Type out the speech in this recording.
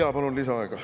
Jaa, palun lisaaega.